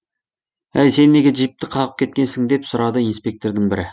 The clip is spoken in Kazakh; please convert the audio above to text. әй сен неге джипті қағып кеткенсің деп сұрады инспектордың бірі